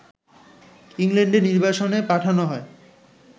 ইংল্যান্ডে নির্বাসনে পাঠানো হয়